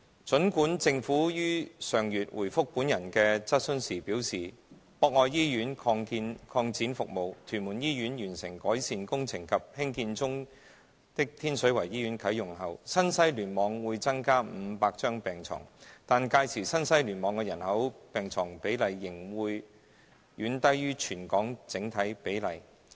儘管政府於上月回覆本人的質詢時表示，博愛醫院擴展服務、屯門醫院完成改善工程及興建中的天水圍醫院啟用後，新西聯網會增加500張病床，但屆時新西聯網的人口病床比例仍會遠低於全港整體比例。